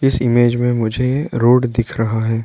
इस इमेज में मुझे रोड दिख रहा है।